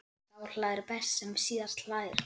Sá hlær best sem síðast hlær!